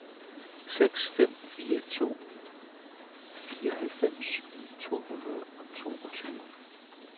seks fem fire to fireoghalvfems to hundrede og toogtyve